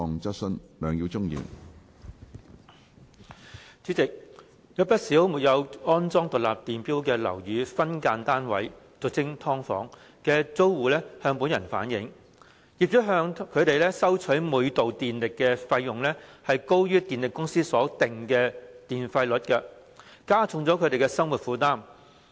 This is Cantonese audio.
主席，有不少沒有安裝獨立電錶的樓宇分間單位的租戶向本人反映，業主向他們收取每度電力的費用，高於電力公司所定的電費率，加重他們的生活負擔。